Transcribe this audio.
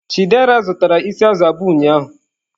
Chidera zụtara isi azụ̀ abụọ ụnyahụ.